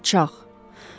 Alçaq.